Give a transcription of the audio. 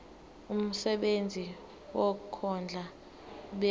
umsebenzi wokondla ubekwa